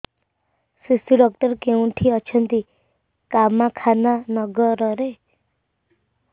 ଶିଶୁ ଡକ୍ଟର କୋଉଠି ଅଛନ୍ତି କାମାକ୍ଷାନଗରରେ